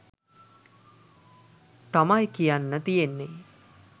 තමයි කියන්න තියෙන්නෙ.